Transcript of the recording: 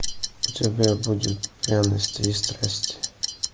у тебя будет пряности и страсти